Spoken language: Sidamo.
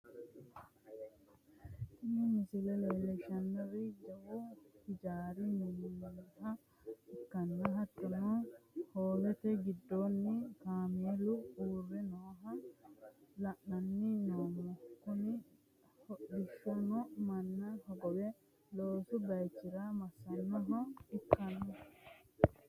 tini misle leellishshannohu jawu hijaari mi'naminoha ikkanna, hattono, hoowete giddoonni kaameelu uurre nooha la'anni noommo, kuni hodhishino manna hogowe loosu bayichi'ra massanniha ikkanno.